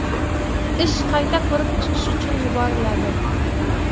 Ish qayta ko‘rib chiqish uchun yuboriladi.